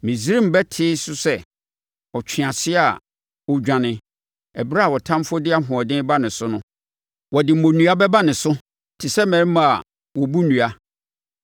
Misraim bɛtee so sɛ ɔtweaseɛ a ɔredwane ɛberɛ a ɔtamfoɔ de ahoɔden reba ne so no; wɔde mmonnua bɛba ne so te sɛ mmarima a wɔbu nnua.